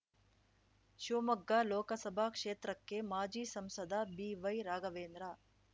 ಶಿವಮೊಗ್ಗ ಲೋಕಸಭಾ ಕ್ಷೇತ್ರಕ್ಕೆ ಮಾಜಿ ಸಂಸದ ಬಿವೈರಾಘವೇಂದ್ರ